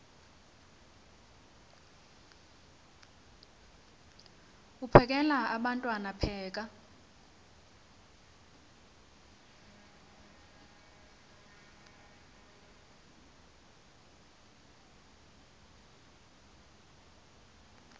uphekel abantwana pheka